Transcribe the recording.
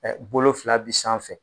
Ɛ Bolo fila bi sanfɛ